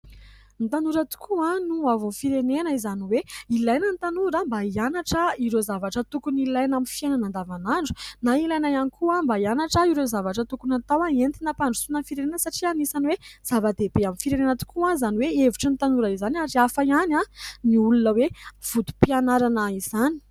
Ny tanora tokoa no hoavin'ny firenena : izany hoe ilaina ny tanora mba hianatra ireo zavatra tokony ilaina amin'ny fiainana andavanandro na ilaina ihany koa mba hianatra ireo zavatra tokony atao entina ampandrosoana ny firenena. Satria anisany hoe zava-dehibe amin'ny firenena tokoa, izany hoe hevitry ny tanora izany, ary hafa ihany ny olona hoe vontom-pianarana izany.